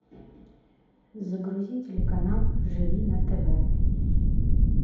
загрузи телеканал живи на тв